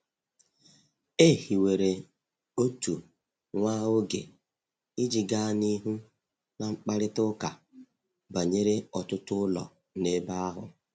E hiwere otu nwa oge iji gaa n’ihu na mkparịta ụka banyere ọtụtụ ụlọ n’ebe ahụ.